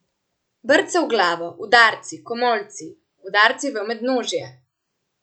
Brce v glavo, udarci, komolci, udarci v mednožje.